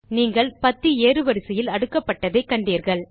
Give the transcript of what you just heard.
நீங்கள் பத்தி ஏறுவரிசையில் அடுக்கப்பட்டதை கண்டீர்கள்